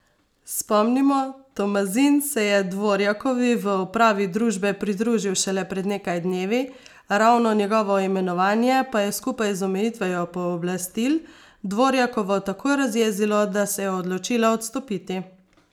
Spomnimo, Tomazin se je Dvorjakovi v upravi družbe pridružil šele pred nekaj dnevi, ravno njegovo imenovanje pa je skupaj z omejitvijo pooblastil Dvorjakovo tako razjezilo, da se je odločila odstopiti.